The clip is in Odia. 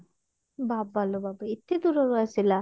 ବାବା ଲୋ ବାବା ଏତେ ଦୂରରୁ ଆସିଲା